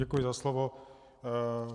Děkuji za slovo.